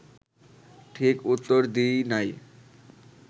ঠিক উত্তর দিই নাই